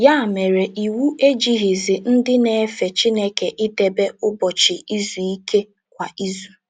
Ya mere, iwu ejighịzi ndị na - efe Chineke idebe Ụbọchị Izu Ike kwa izu.